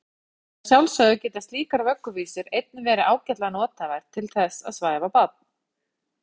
En að sjálfsögðu geta slíkar vögguvísur einnig verið ágætlega nothæfar til þess að svæfa barn.